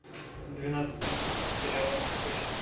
двенадцатый сезон сериала бесстыжие